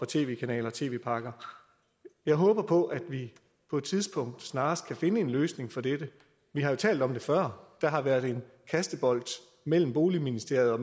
tv kanaler og tv pakker jeg håber på at vi på et tidspunkt snarest kan finde en løsning på dette vi har jo talt om det før og det har været en kastebold mellem boligministeriet og